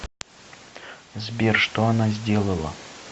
сбер что она сделала